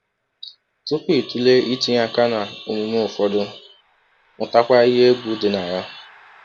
Tupu ị tụlee itinye aka n’omume ụfọdụ, mụtakwa ihe egwu dị na ya.